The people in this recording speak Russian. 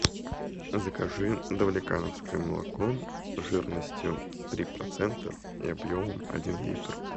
закажи давлекановское молоко жирностью три процента и объемом один литр